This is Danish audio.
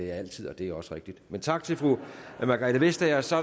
jeg altid og det er også rigtigt men tak til fru margrethe vestager og så